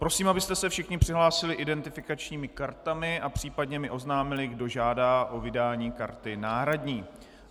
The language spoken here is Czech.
Prosím, abyste se všichni přihlásili identifikačními kartami a případně mi oznámili, kdo žádá o vydání karty náhradní.